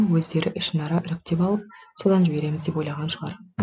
өздері ішінара іріктеп алып содан жібереміз деп ойлаған шығар